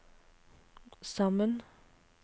sammen